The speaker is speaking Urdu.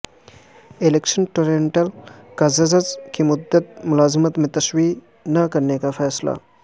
الیکشن ٹربیونل کا ججز کی مدت ملازمت میں توسیع نہ کرنے کا فیصلہ